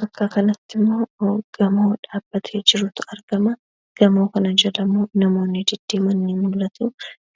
Bakka kanattimmoo gamoo dhaabbatee jirutu argamaa. Gamoo kana jalammoo namoonni deddeeman ni mul'atu.